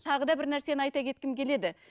тағы да бір нәрсені айта кеткім келеді